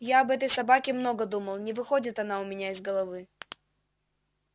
я об этой собаке много думал не выходит она у меня из головы